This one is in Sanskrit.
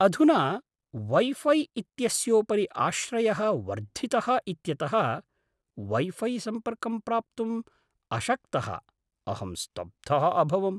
अधुना वैफ़ै इत्यस्योपरि आश्रयः वर्धितः इत्यतः वैफ़ै सम्पर्कं प्राप्तुम् अशक्तः अहं स्तब्धः अभवम्।